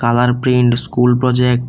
Aadhaar print school project.